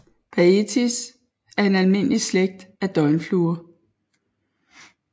Baetis er en almindelig slægt af døgnfluer